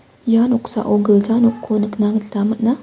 ia noksao gilja noko nikna gita man·a.